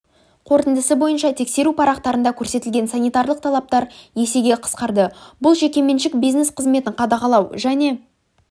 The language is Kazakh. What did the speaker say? қорытындысы бойынша тексеру парақтарында көрсетілетін санитарлық талаптар есеге қысқарды бұл жекеменшік бизнес қызметін қадағалау және